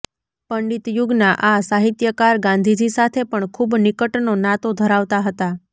પંડિત યુગના આ સાહિત્યકાર ગાંધીજી સાથે પણ ખૂબ નિકટનો નાતો ધરાવતા હતા